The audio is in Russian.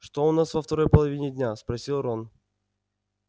что у нас во второй половине дня спросил рон